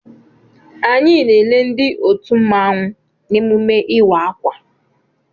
Anyị na-ele ndị otu mmanwụ n'emume ịwa akwa.